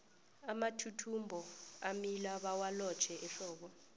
amathuthumbo amila bawalotjhe ehlobo